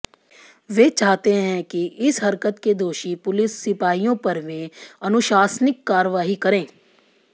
वे चाहते हैं कि इस हरकत के दोषी पुलिस सिपाहियों पर वे अनुशासनिक कार्रवाई करें